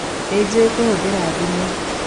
Nĩjũĩ kũhũthĩra thimũ